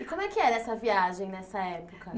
E como é que era essa viagem nessa época?